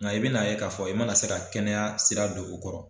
Nga i bɛn'a k'a fɔ i mana se ka kɛnɛya sira don u kɔrɔ